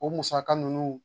O musaka ninnu